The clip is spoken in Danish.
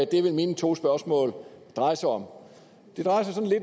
det vil mine to spørgsmål dreje sig om